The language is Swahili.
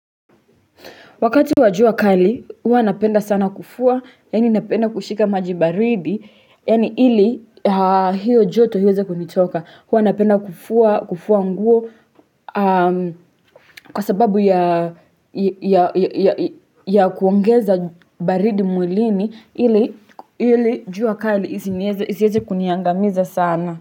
Wakati wa jua kali, hua napenda sana kufua, yaani napenda kushika maji baridi, yaani ili hiyo joto iwenze kunitoka. Hua napenda kufua nguo kwa sababu ya kuongeza baridi mwilini, ili jua kali iziweze kuniangamiza sana.